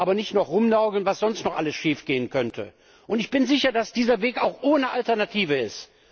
Aber nicht nur rumnörgeln, was sonst noch alles schiefgehen könnte! Ich bin auch sicher, dass dieser Weg ohne Alternative ist.